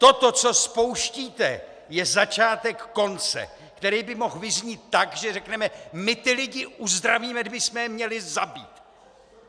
Toto, co spouštíte, je začátek konce, který by mohl vyznít tak, že řekneme: "My ty lidi uzdravíme, kdybysme je měli zabít!"